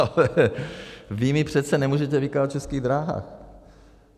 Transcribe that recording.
Ale vy mi přece nemůžete vykládat o Českých dráhách.